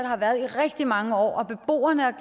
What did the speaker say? har været i rigtig mange år hvor beboerne og